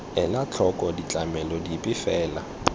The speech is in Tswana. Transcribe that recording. ela tlhoko ditlamelo dipe fela